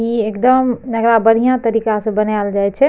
ई एकदम एकरा बढ़िया तरीका से बनाएल जाई छे।